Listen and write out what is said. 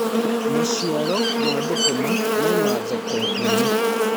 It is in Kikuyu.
maciaro ma thukuma mena thoko nene